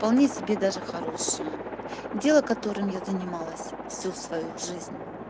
вполне себе даже хорошее дело которым я занималась всю свою жизнь